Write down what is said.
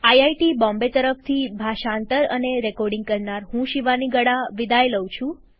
IIT Bombay તરફથી ભાષાંતર અને રેકોર્ડીંગ કરનાર હું શિવાની ગડા વિદાય લઉં છું